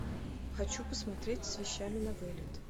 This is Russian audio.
хочу посмотреть с вещами на вылет